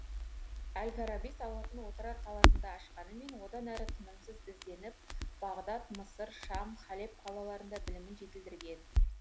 әл фараби сауатын отырар қаласында ашқанымен одан әрі тынымсыз ізденіп бағдат мысыр шам халеб қалаларында білімін жетілдірген